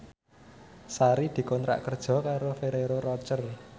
Sari dikontrak kerja karo Ferrero Rocher